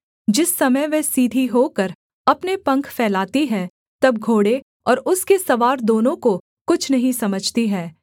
जिस समय वह सीधी होकर अपने पंख फैलाती है तब घोड़े और उसके सवार दोनों को कुछ नहीं समझती है